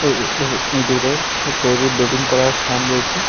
এ এ ইঁদুরের তৈরি ব্রিডিং করার ফার্ম রয়েছে।